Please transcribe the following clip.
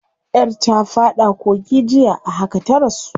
Yar ta fada kogi jiya, a haka ta rasu.